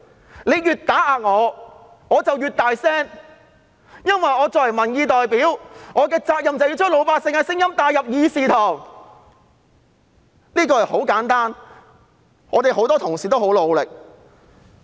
他們越打壓，我便越大聲，因為作為民意代表，我的責任就是要把老百姓的聲音帶入議事堂，這是很簡單的，我們很多同事都很努力。